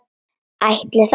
Ætli það?